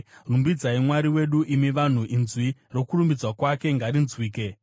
Rumbidzai Mwari wedu, imi vanhu, inzwi rokurumbidzwa kwake ngarinzwike;